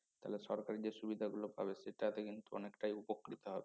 তাহলে সরকার যে সুবিধা গুলো পাবে সেটাতে কিন্তু অনেকটাই উপকৃত হবে